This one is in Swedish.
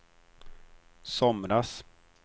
somras